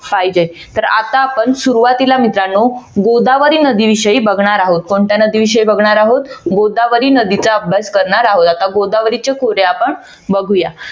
पाहिजे तर आता आपण सुरवातीला मित्रानो गोदावरी नदी विषयी बघणार आहोत कोणत्या नदी विषयी बघणार आहोत गोदावरी नदीचा अभ्यास करणार आहोत आता गोदावरीच्या खोऱ्या आपण बघूया.